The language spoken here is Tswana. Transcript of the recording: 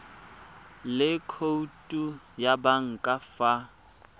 le khoutu ya banka fa